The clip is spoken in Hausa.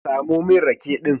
Samo min rake din